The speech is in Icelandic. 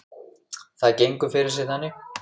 Það gengur fyrir sig þannig